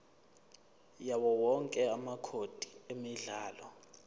yawowonke amacode emidlalo